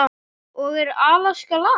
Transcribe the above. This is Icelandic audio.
og Er Alaska land?